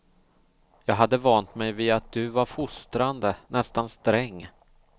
Jag hade vant mig vid att du var fostrande, nästan sträng.